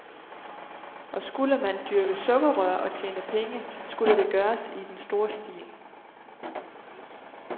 Og skulle man dyrke sukkerrør og tjene penge, skulle det gøres i den store stil.